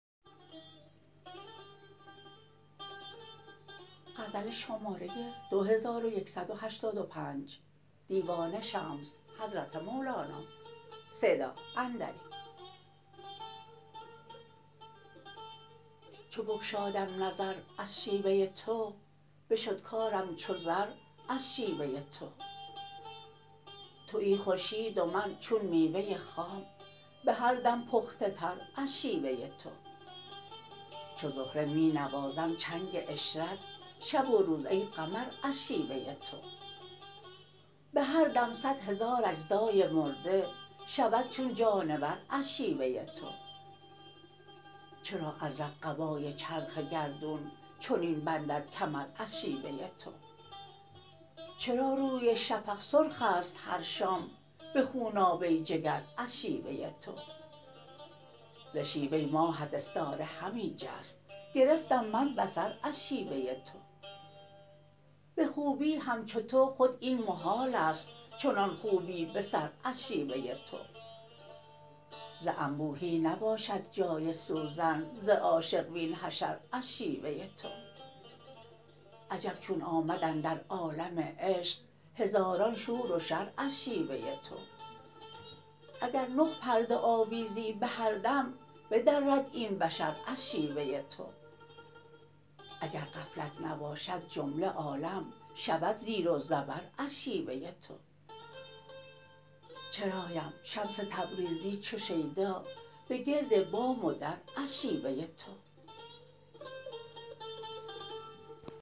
چو بگشادم نظر از شیوه تو بشد کارم چو زر از شیوه تو توی خورشید و من چون میوه خام به هر دم پخته تر از شیوه تو چو زهره می نوازم چنگ عشرت شب و روز ای قمر از شیوه تو به هر دم صد هزار اجزای مرده شود چون جانور از شیوه تو چرا ازرق قبای چرخ گردون چنین بندد کمر از شیوه تو چرا روی شفق سرخ است هر شام به خونابه جگر از شیوه تو ز شیوه ماهت استاره همی جست گرفتم من بصر از شیوه تو به خوبی همچو تو خود این محال است چنان خوبی به سر از شیوه تو ز انبوهی نباشد جان سوزن ز عاشق وین حشر از شیوه تو عجب چون آمد اندر عالم عشق هزاران شور و شر از شیوه تو اگر نه پرده آویزی به هر دم بدرد این بشر از شیوه تو اگر غفلت نباشد جمله عالم شود زیر و زبر از شیوه تو چرایم شمس تبریزی چو شیدا به گرد بام و در از شیوه تو